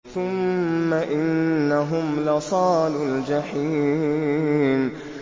ثُمَّ إِنَّهُمْ لَصَالُو الْجَحِيمِ